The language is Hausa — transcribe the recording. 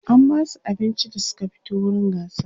an Basu abinci da Suka fito wurin gasar